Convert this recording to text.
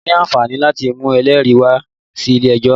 O ní àǹfààní láti mú ẹlẹ́rìí rẹ wá sí ilé ẹjọ́